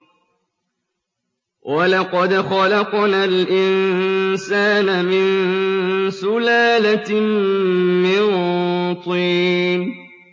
وَلَقَدْ خَلَقْنَا الْإِنسَانَ مِن سُلَالَةٍ مِّن طِينٍ